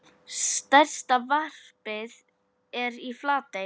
Stærsta varpið er í Flatey.